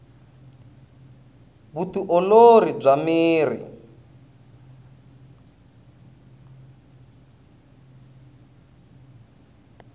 vu ti olori bya miri